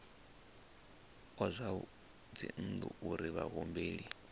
wa zwa dzinnu uri vhahumbeli